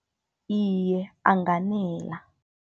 Iye, anganela.